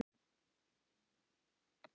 Gretar, hringdu í Sumarlilju.